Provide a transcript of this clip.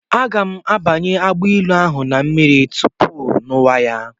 Aga m abanye agbailu ahụ na mmiri tupu ṅụwa ya.